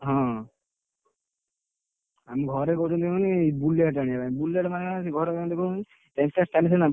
ହଁ ଆମେ ଘରେ କହୁଛନ୍ତି କଣ କହନି Bullet ଆଣିବାପାଇଁ Bullet ସିନା